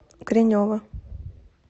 гринева